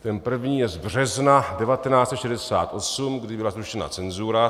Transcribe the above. Ten první je z března 1968, kdy byla zrušena cenzura.